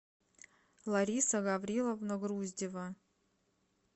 лариса гавриловна груздева